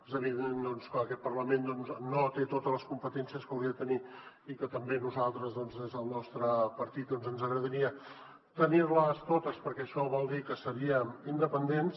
és evident que aquest parlament no té totes les competències que hauria de tenir i que també a nosaltres doncs des del nostre partit ens agradaria tenir les totes perquè això voldria dir que seríem independents